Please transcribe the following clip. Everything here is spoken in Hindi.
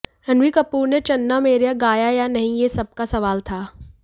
रणबीर कपूर ने चन्ना मेरेया गाया या नहीं ये सबका सवाल था